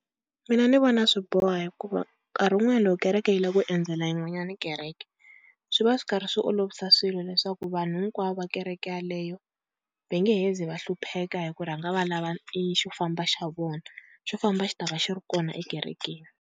Mina ni vona swi boha hikuva nkarhi wun'wanyana loko kereke yi lava ku endzela yin'wanyana kereke swi va swi karhi swi olovisa swilo, leswaku vanhu hinkwavo va kereke yaleyo va nge he zi va hlupheka hi ku rhanga va lava i xo famba xa vona, xo famba xi ta va xi ri kona ekerekeni.